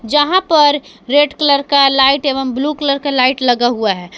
जहां पर red colour का लाइट एवं ब्लू कलर का लाइट लगा हुआ है।